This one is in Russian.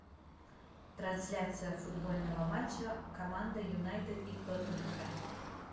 трансляция футбольного матча команда юнайтед и тоттенхэм